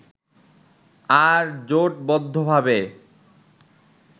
আর জোটবদ্ধভাবে